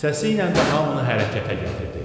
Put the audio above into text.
Səsiylə də hamını hərəkətə gətirdi.